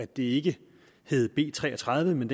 det ikke hed b tre og tredive men